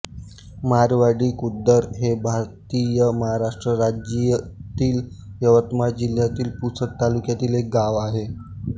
मारवाडी खुर्द हे भारतातील महाराष्ट्र राज्यातील यवतमाळ जिल्ह्यातील पुसद तालुक्यातील एक गाव आहे